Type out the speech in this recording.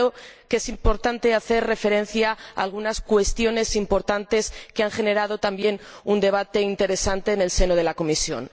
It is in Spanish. Pero creo que es importante hacer referencia a algunas cuestiones importantes que han generado también un debate interesante en la comisión.